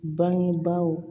Bangebaaw